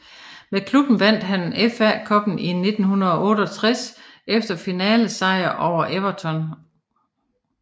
Med klubben vandt han FA Cuppen i 1968 efter finalesejr over Everton